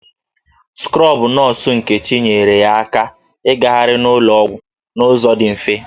Skrọbụ nọọsụ Nkechi nyeere ya aka igahari n'ụlọ ọgwụ n'ụzọ dị mfe.